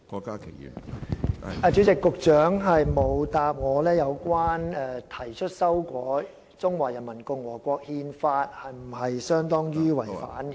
主席，局長沒有回答，提出修改《憲法》是否等同違憲？